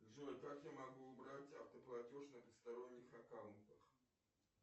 джой как я могу убрать автоплатеж на посторонних аккаунтах